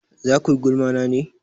Za kuyi gulma na ne?